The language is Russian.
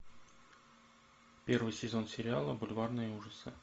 первый сезон сериала бульварные ужасы